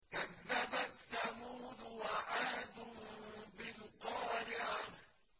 كَذَّبَتْ ثَمُودُ وَعَادٌ بِالْقَارِعَةِ